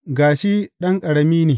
Ga shi ɗan ƙarami ne!